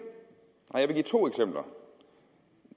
jeg vil give to eksempler